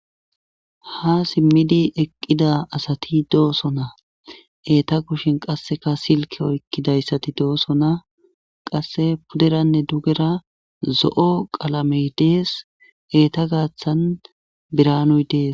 Ha simmidi eqqida asati doosona eeta kushin qasseka silke oykkidayssati doosona qasse puderanne dugera zo7o qalamey dees eeta gaaththan biranuy dees.